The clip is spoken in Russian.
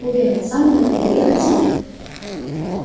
уверен сам он этого не хотел